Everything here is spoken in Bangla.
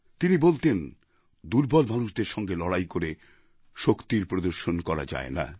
তিনি বলতেন দুর্বল মানুষদের সঙ্গে লড়াই করে শক্তির প্রদর্শন করা যায় না